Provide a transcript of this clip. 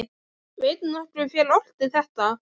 Veit nokkur hver orti þetta????